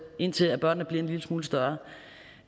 indtil børnene bliver en lille smule større